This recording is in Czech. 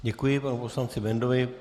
Děkuji panu poslanci Bendlovi.